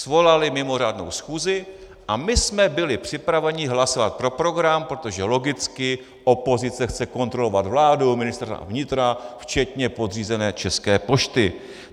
Svolali mimořádnou schůzi a my jsme byli připraveni hlasovat pro program, protože logicky opozice chce kontrolovat vládu, Ministerstvo vnitra včetně podřízené České pošty.